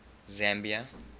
zambia